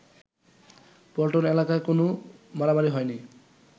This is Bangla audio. পল্টন এলাকায় কোন মারামারি হয়নি